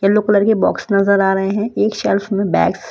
yellow colour के box नजर आ रहे हैं एक शेल्फ में बैग्स --